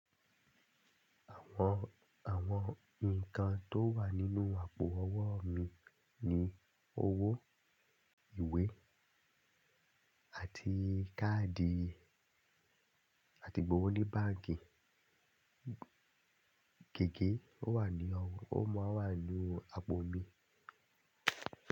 Àwọn, àwọn nǹkan tó wà nínú àpò owó mi ni owó, ìwé àti káàdì àti gbówó ní báǹkì. Gège ó wà ní ọwọ́, ó mọ́ wa nínú àpò mi.